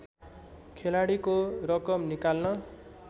खेलाडीको रकम निकाल्न